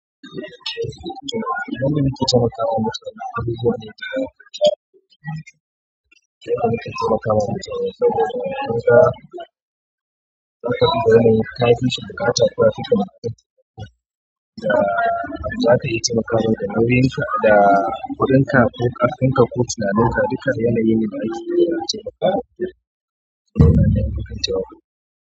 Zaka duba yanayin kafishi buƙata ko yafika buƙata, yadda zaka iya taimakawa da kuɗinka ko ƙarfinka ko tunaninka duka yanayine da ake.